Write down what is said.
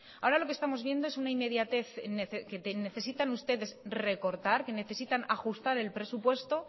ahora lo que estamos viendo es una inmediatez que necesitan ustedes recortar que necesitan ajustar el presupuesto